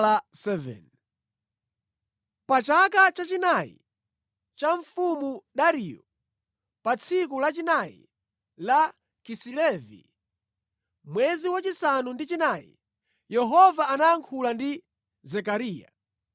Pa chaka chachinayi cha Mfumu Dariyo, pa tsiku lachinayi la Kisilevi, mwezi wachisanu ndi chinayi, Yehova anayankhula ndi Zekariya.